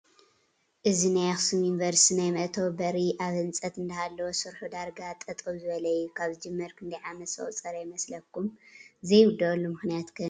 እዚ ናይ ኣክሱም ዩኒቨርቲ ናይ መእተዊ በሪ ኣብ ህንፀት እንዳሃለወ ስርሑ ዳርጋ ጠጠው ዝበለ እዩ፡፡ ካብ ዝጅመር ክንደይ ዓመት ዘቑፀረ ይመስለኩም? ዘይውዳኣሉ ምኽንያት ከ ንምንታይ ይኾን?